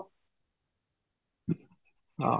ହଁ